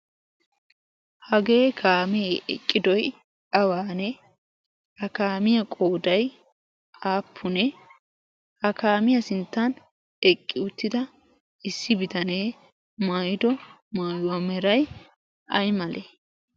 hagee kaamee eqqidoi awaanee ha kaamiyaa qoodai aappunee ha kaamiyaa sinttan eqqi uttida issi bitanee maaido maayuwaa merai male?